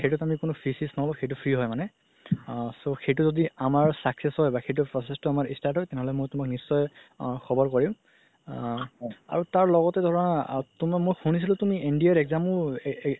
সেইটোত আমি কোনো fees চিজ নহ'ব সেইটো free হয় মানে আ so সেইটো যদি আমাৰ success হয় বা সেইটো process তো আমাৰ start হয় তেনেহ'লে মই তুমাক নিশ্চয় আ খবৰ কৰিম আ আৰু তাৰ লগতে ধৰা আ মই শুনিছিলো তুমি NDA ৰ exam ও